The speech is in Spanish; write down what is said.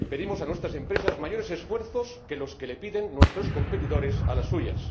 Pedimos a nuestras empresas mayores esfuerzos que los que les piden nuestros competidores a las suyas.